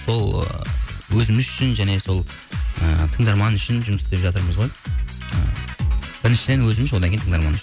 сол ы өзіміз үшін және сол ыыы тыңдарман үшін жұмыс істеп жатырмыз ғой ыыы біріншіден өзіміз одан кейін тыңдарман үшін